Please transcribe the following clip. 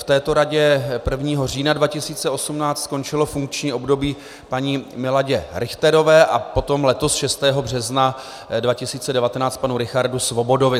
V této radě 1. října 2018 skončilo funkční období paní Miladě Richterové a potom letos 6. března 2019 panu Richardu Svobodovi.